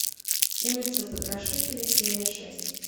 улица потрошителя серия шесть